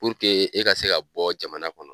e ka se ka bɔ jamana kɔnɔ